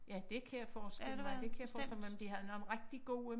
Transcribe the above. Ja dét kan jeg forestille mig det kan jeg forestille mig men de havde nogle rigtig gode